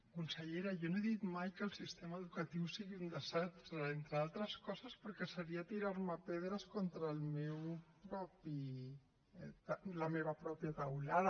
consellera jo no he dit mai que el sistema educatiu sigui un desastre entre altres coses perquè seria tirar me pedres contra la meva pròpia teulada